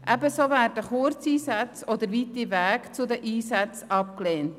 Ebenso werden Kurzeinsätze oder weite Wege zu den Einsätzen abgelehnt.